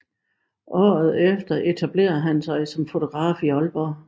Året efter etablerede han sig som fotograf i Aalborg